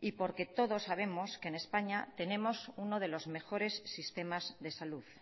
y porque todos sabemos que en españa tenemos uno de los mejores sistemas de salud